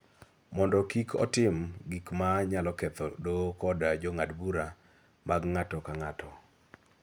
mondo kik otim gik ma nyalo ketho Doho kod Jong'ad bura mag ng�ato ka ng�ato.